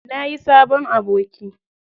Nayi sabon aboki.